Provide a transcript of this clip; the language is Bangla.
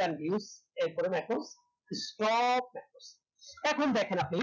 than views এর পরে সব এখন দেখেন আপনি